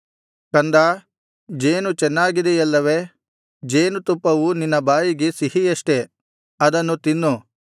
ಕಂದಾ ಜೇನು ಚೆನ್ನಾಗಿದೆಯಲ್ಲವೆ ಜೇನುತುಪ್ಪವು ನಿನ್ನ ಬಾಯಿಗೆ ಸಿಹಿಯಷ್ಟೆ ಅದನ್ನು ತಿನ್ನು